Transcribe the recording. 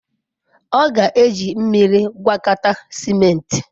Ọ ga-eji mmiri gwakọta ciment.